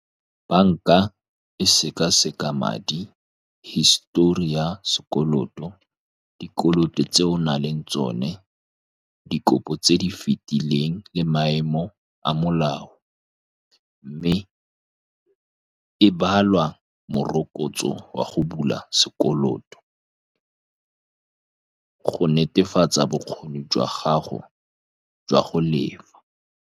Banka e seka-seka madi, history ya sekoloto, dikoloto tse o nang le tsone, dikopo tse di fetileng le maemo a molao, mme e balwa morokotso wa go bula sekoloto go netefatsa bokgoni jwa gago jwa go lefa.